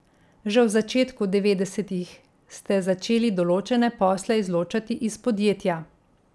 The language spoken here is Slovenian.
Že v začetku devetdesetih ste začeli določene posle izločati iz podjetja.